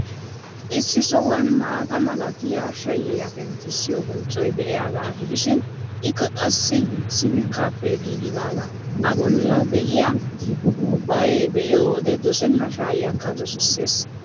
Issi sohuwan maata malatiyaa shayyiyaa penttissiyoo bonccoy de'iyaagaa gidishin, ikka qassi sifikkaappe giigidaaga. A bolli de'iyaa kubbayaa be'iyo wode dosenna shayayiyaakka dosissees.